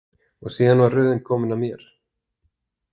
Og síðan var röðin komin að mér.